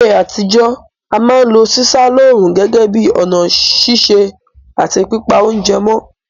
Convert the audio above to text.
Láyé àtijọ́, a ma n lo sísá lóòrùn gẹ́gẹ́ bi ọ̀nà sise àti pípa ounje mó